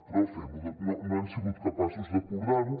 però no hem sigut capaços d’acordar ho